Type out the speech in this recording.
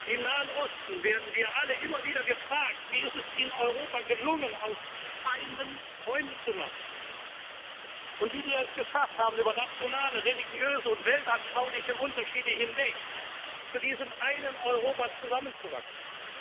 Europas. Im Nahen Osten werden wir alle immer wieder gefragt, wie es in Europa gelungen ist, aus Feinden Freunde zu machen, und wie wir es geschafft haben, über nationale, religiöse und weltanschauliche Unterschiede hinweg zu diesem einen Europa zusammenzuwachsen.